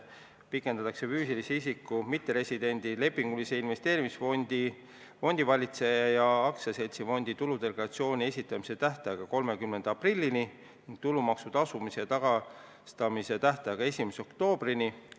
Pikendatakse füüsilise isiku, mitteresidendi, lepingulise investeerimisfondi fondivalitseja ja aktsiaseltsifondi tuludeklaratsiooni esitamise tähtaega 30. aprillini ning tulumaksu tagastamise tähtaega 1. oktoobrini.